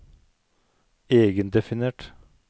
egendefinert